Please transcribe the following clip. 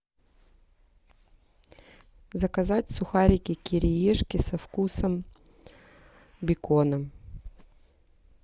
заказать сухарики кириешки со вкусом бекона